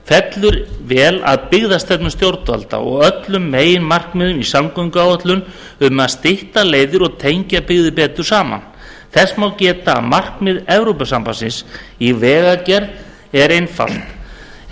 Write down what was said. fellur vel að byggðastefnu stjórnvalda og öllum meginmarkmiðum í samgönguáætlun um að stytta leiðir og tengja byggðir betur saman þess má geta að markmið evrópusambandsins í vegagerð er einfalt en